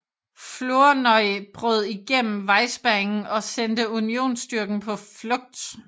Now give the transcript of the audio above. Flournoy brød igennem vejspærringen og sendte Unionsstyrken på flugt